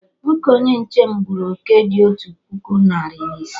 Nwoke onye nche m gburu oké dị otu puku narị na ise